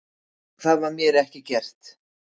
Það var mér ekki gert